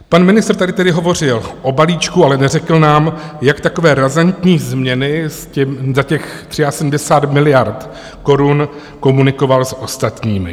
Pan ministr tady tedy hovořil o balíčku, ale neřekl nám, jak takové razantní změny za těch 73 miliard korun komunikoval s ostatními.